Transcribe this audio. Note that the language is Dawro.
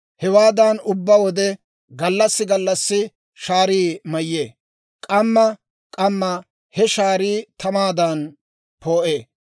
Hewaadan ubbaa wode gallassi gallassi shaarii mayyee; k'amma k'amma he shaarii tamaadan poo'ee.